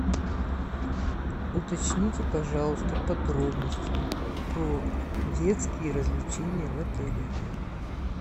уточните пожалуйста подробности про детские развлечения в отеле